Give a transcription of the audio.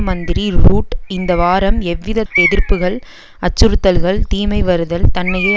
மந்திரி ரூட் இந்த வாரம் எவ்வித எதிர்ப்புக்கள் அச்சுறுத்தல்கள் தீமை வருதல் தன்னையே